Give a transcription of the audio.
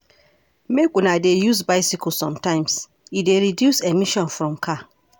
Make una dey use bicycle sometimes, e dey reduce emission from car.